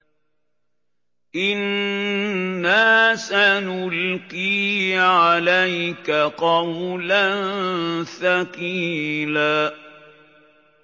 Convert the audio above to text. إِنَّا سَنُلْقِي عَلَيْكَ قَوْلًا ثَقِيلًا